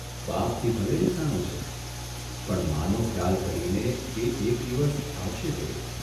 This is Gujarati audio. બાપથી ભલે રિસાણો છે, પણ માનો ખ્યાલ કરીને એ એક દિવસ આવશે જરૂર !